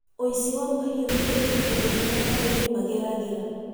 Ũici wa mahiũ nĩ ũritũ ũmwe arĩmi mageragĩra.